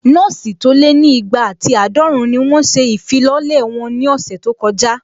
Nọ́ọ̀sì tó lé ní igba àti àádọ́run ni wọ́n ṣe ìfilọ́lẹ̀ wọn ní ọ̀sẹ̀ tó kọjá